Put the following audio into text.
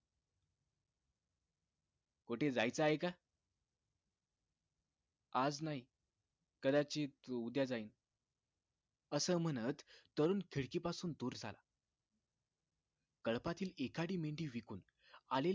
कुठे जायचं आहे का आज नाही कदाचित उद्या जाईन असं म्हणत तरुण खिडकी पासून दूर झाला कळपातील एखादी मेंढी विकूनआले